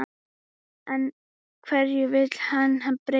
En hverju vill hann breyta?